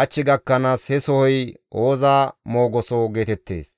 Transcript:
hach gakkanaas he sohoy Ooza meqoso geetettees.